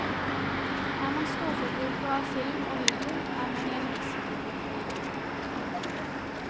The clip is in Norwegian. Er man storforbruker av film og video, er man i en risikogruppe.